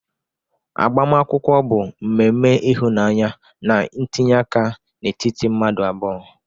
Agbamakwụkwọ bụ mmemme ịhụnanya na ntinye aka n'etiti mmadụ abụọ.